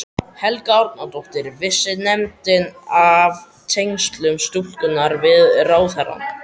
Helga Arnardóttir: Vissi nefndin af tengslum stúlkunnar við ráðherrann?